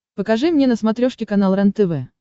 покажи мне на смотрешке канал рентв